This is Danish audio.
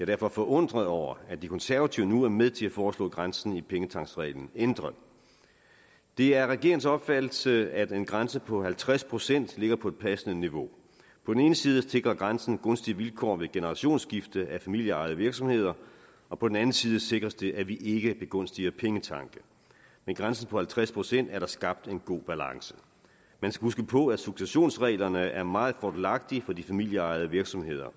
derfor forundret over at de konservative nu er med til at foreslå grænsen i pengetanksreglen ændret det er regeringens opfattelse at en grænse på halvtreds procent ligger på et passende niveau på den ene side sikrer grænsen gunstige vilkår ved generationsskifte af familieejede virksomheder og på den anden side sikres det at vi ikke begunstiger pengetanke med grænsen på halvtreds procent er der skabt en god balance man skal huske på at successionsreglerne er meget fordelagtige for de familieejede virksomheder